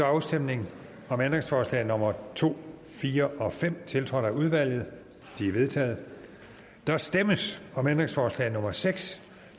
afstemning om ændringsforslag nummer to fire og fem tiltrådt af udvalget de er vedtaget der stemmes om ændringsforslag nummer seks